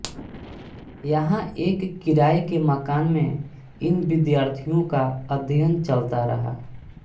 यहाँ एक किराये के मकान में इन विद्यार्थियों का अध्ययन चलता रहा